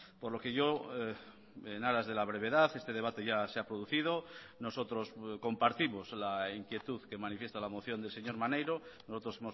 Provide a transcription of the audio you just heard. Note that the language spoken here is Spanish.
por lo que yo en aras de la brevedad este debate ya se ha producido nosotros compartimos la inquietud que manifiesta la moción del señor maneiro nosotros